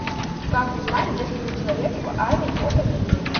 как узнать где служил человек в армии по фамилии